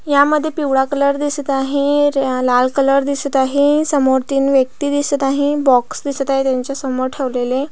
ह्या मध्ये पिवळा कलर दिसत आहे लाल कलर दिसत आहे समोर तीन व्यक्ति दिसत आहे बॉक्स दिसत आहे त्यांच्या समोर ठेवलेले.